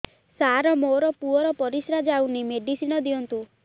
ସାର ମୋର ପୁଅର ପରିସ୍ରା ଯାଉନି ମେଡିସିନ ଦିଅନ୍ତୁ